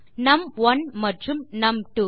நும்1 மற்றும் நும்2